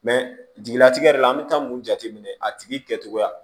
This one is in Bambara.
jigilatigɛ yɛrɛ la an bɛ taa mun jateminɛ a tigi kɛcogoya